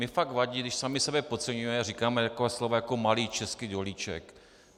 Mně fakt vadí, když sami sebe podceňujeme a říkáme taková slova jako malý český dolíček.